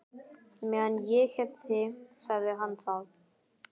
Meðan ég hef þig sagði hann þá.